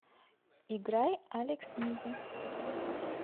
играй алекс миди